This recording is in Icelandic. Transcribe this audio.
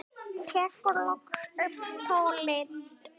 Tekur loksins upp tólið.